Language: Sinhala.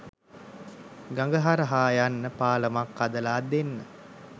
ගඟ හරහා යන්න පාලමක් හදලා දෙන්න